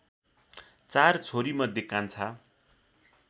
चार छोरीमध्ये कान्छा